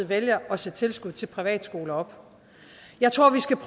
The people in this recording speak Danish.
vælger at sætte tilskuddet til privatskoler op jeg tror vi skal